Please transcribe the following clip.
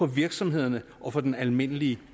virksomhederne og den almindelige